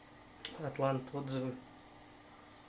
атлант отзывы